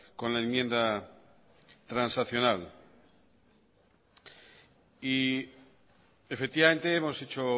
con la enmienda transaccional efectivamente hemos hecho